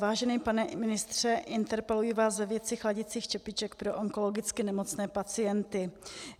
Vážený pane ministře, interpeluji vás ve věci chladicích čepiček pro onkologicky nemocné pacienty.